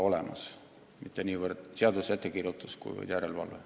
Pole vaja mitte niivõrd uusi seaduse ettekirjutusi, kuivõrd järelevalvet.